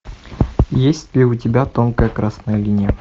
есть ли у тебя тонкая красная линия